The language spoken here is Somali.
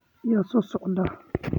Yaa soo socda?